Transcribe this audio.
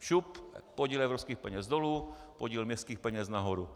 Šup, podíl evropských peněz dolů, podíl městských peněz nahoru!